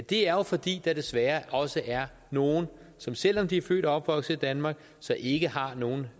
det er jo fordi der desværre også er nogle som selv om de er født og opvokset i danmark ikke har nogen